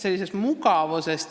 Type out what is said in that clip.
See on mugavus.